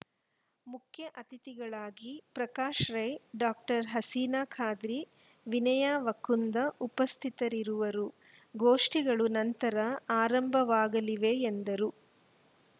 ಮುಖ್ಯ ಅತಿಥಿಗಳಾಗಿ ಪ್ರಕಾಶ್‌ ರೈ ಡಾಕ್ಟರ್ ಹಸಿನಾ ಖಾದ್ರಿ ವಿನಯಾ ವಕ್ಕುಂದ ಉಪಸ್ಥಿತರಿರುವರು ಗೋಷ್ಠಿಗಳು ನಂತರ ಆರಂಭವಾಗಲಿವೆ ಎಂದರು